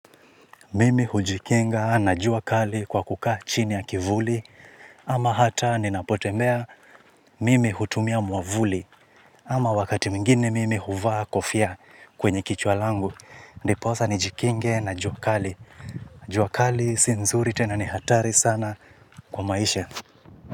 Mimi hujikinga na jua kali kwa kukaa chini ya kivuli. Ama hata ninapotembea mimi hutumia mwavuli. Ama wakati mwingine mimi huvaa kofia kwenye kichwa langu. Ndiposa nijikinge na jua kali. Jua kali si nzuri tena ni hatari sana kwa maisha.